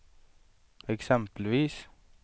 exempelvis